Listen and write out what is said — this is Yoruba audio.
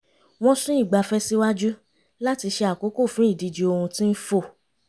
wọ́n sún ìgbafẹ́ síwájú láti ṣe àkókò fún ìdíje ohun tí ń fò